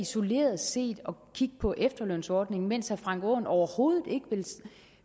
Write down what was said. isoleret set at kigge på efterlønsordningen mens herre frank aaen overhovedet ikke